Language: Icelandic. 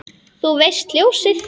Þú veist, ljósið